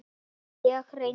Ég reyndi.